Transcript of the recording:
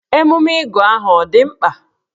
Emume ịgụ aha ọ dị mkpa?